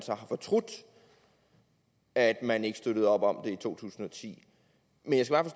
har fortrudt at man ikke støttede op om den i to tusind og ti men